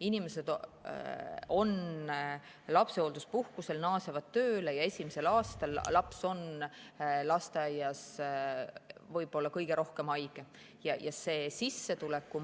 Inimesed on lapsehoolduspuhkusel, naasevad tööle, esimesel aastal on laps lasteaias võib-olla kõige rohkem haige ja see sissetuleku